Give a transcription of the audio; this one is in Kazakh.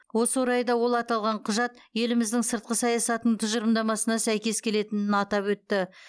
осы орайда ол аталған құжат еліміздің сыртқы саясатының тұжырымдамасына сәйкес келетінін атап өтті